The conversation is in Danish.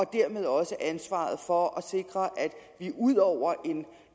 dermed også ansvaret for at vi ud over